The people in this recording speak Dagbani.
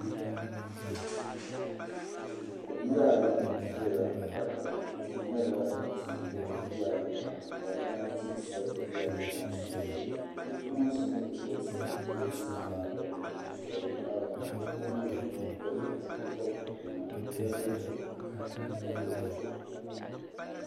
Yiya ayi n ʒiya kpataba tihi nyɛla din pe gili lala yiya ayi maa ka moongu tia sa lala yiya maa sunsuuni bipuɣinsi mini bidibisi n ʒi tia maa gbuni n suhiri naawuni bipuɣibili yino bɛni o yɛla liiga ka lɔ o zuɣu.